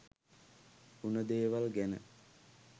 උන දේවල් ගැන